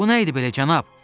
Bu nə idi belə, cənab?